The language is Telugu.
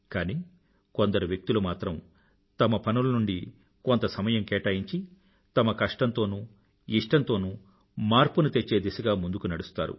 కానీ కోందరు వ్యక్తులు మాత్రం తమ పనుల నుండి కొంత సమయం కేటాయించి తమ కష్టంతోనూ ఇష్టం తోనూ మార్పుని తెచ్చే దిశగా ముందుకు నడుస్తారు